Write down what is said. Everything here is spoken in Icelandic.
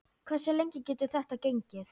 Hversu lengi getur þetta gengið?